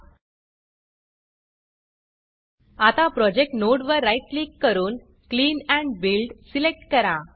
आता project node project वर right click करून क्लीन Buildक्लीन बिल्ड सिलेक्ट करा